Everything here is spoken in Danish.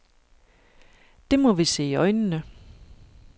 Det må vi se i øjnene.